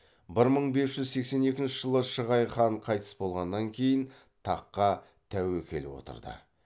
бір мың бес жүз сексен екінші жылы шығай хан қайтыс болғаннан кейін таққа тәуекел отырды